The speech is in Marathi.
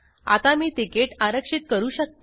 आता मी तिकीट आरक्षित करू शकते